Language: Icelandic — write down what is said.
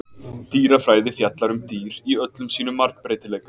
dýrafræði fjallar um dýr í öllum sínum margbreytileika